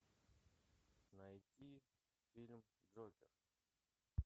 найти фильм джокер